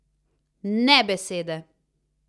Ne besede!